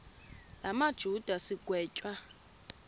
la majuda sigwetywa